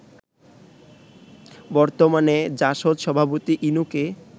বর্তমানে জাসদ সভাপতি ইনুকে